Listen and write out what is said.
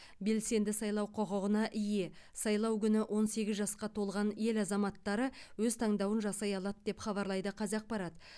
белсенді сайлау құқығына ие сайлау күні он сегіз жасқа толған ел азаматтары өз таңдауын жасай алады деп хабарлайды қазақпарат